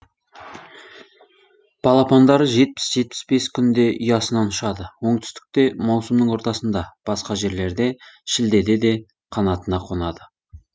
балапандары жетпіс жетпіс бес күнде ұясынан ұшады оңтүстікте маусымның ортасында басқа жерлерде шілде де қанатына қонады